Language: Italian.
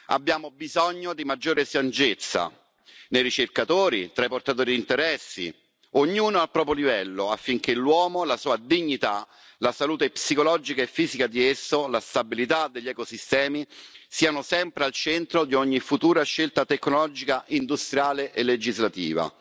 Abbiamo bisogno di maggiore saggezza nei ricercatori, tra i portatori di interessi, ognuno al proprio livello, affinché l'uomo, la sua dignità, la salute psicologica e fisica di esso, la stabilità degli ecosistemi siano sempre al centro di ogni futura scelta tecnologica, industriale e legislativa.